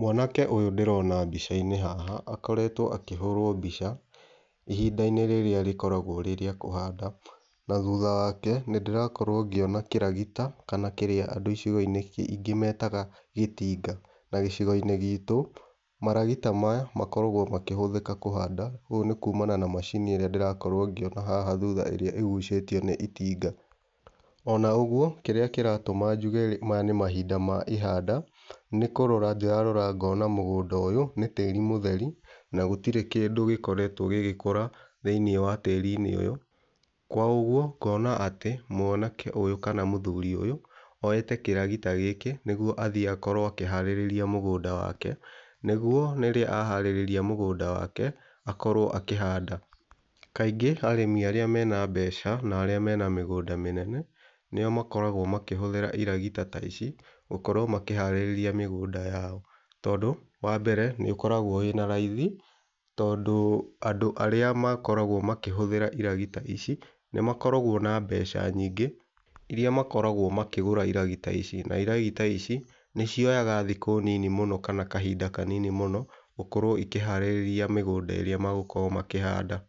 Mwanake ũyũ ndĩrona mbica-inĩ haha akoretwo akĩhũrwo mbica ihinda-inĩ rĩrĩa rĩkoragwo rĩ rĩa kũhanda na thutha wake nĩndĩrakorwo ngĩona kĩragita kana kĩrĩa andũ icigo-inĩ ingĩ metaga gĩtinga na gĩcigo-inĩ gitũ maragita maya makoragwo makĩhũthĩka kũhanda ũũ nĩ kumana na macini ĩrĩa ndĩrakorwo ngĩona haha thutha ĩrĩa ĩgucĩtio nĩ itinga. Ona ũguo kĩrĩa kĩratũma njuge maya nĩ mahinda ma ihanda nĩkũróra ndĩrarora ngona mũgũnda ũyũ nĩ tĩri mũtheri na gũtirĩ kĩndũ gĩkoretwo gĩgĩkũra thĩĩnĩ wa tĩri-inĩ ũyũ kwa ũguo ngona atĩ mwanake ũyũ kana mũthuri ũyũ oyete kĩragita gĩkĩ nĩgũo athĩe akorwo akĩharĩrĩria mũgũnda wake nigũo rĩrĩa aharĩrĩria mũgũnda wake akorwo akĩhanda. Kaingĩ arĩmi arĩa mena mbeca na arĩa mena mĩgũnda mĩnene nĩo makoragwo makĩhũthĩra iragita ta ici gũkorwo makĩharĩrĩria mĩgũnda yao tondũ wa mbere nĩũkoragwo wĩna raithi tondũ andũ arĩa makoragwo makĩhũthĩra iragita ici nĩmakoragwo na mbeca nyingĩ iria makoragwo makĩgũra iragita ici na iragita ici nĩcioyaga thikũ nini mũno kana kahinda kanini mũno gũkorwo ikĩharĩrĩria mĩgũnda ĩrĩa magũkorwo makĩhanda.